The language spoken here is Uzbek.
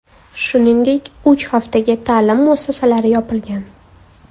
Shuningdek, uch haftaga ta’lim muassasalari yopilgan.